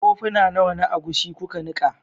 Kofuna nawa na agushi kuka nika?